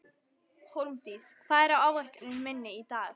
Hólmdís, hvað er á áætluninni minni í dag?